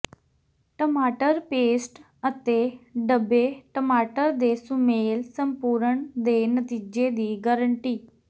ਟਮਾਟਰ ਪੇਸਟ ਅਤੇ ਡਬੇ ਟਮਾਟਰ ਦੇ ਸੁਮੇਲ ਸੰਪੂਰਣ ਦੇ ਨਤੀਜੇ ਦੀ ਗਰੰਟੀ